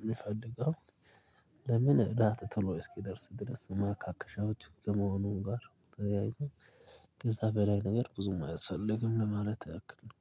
የምፈልገው። ለምን እራት ቶሎ እስኪደርስ ድረስ ማካከሻዎች ከመሆኑን ጋር ተለያይተው ከዛ በላይ ነገር ብዙም አያስፈልግም። ለማለት አያክልም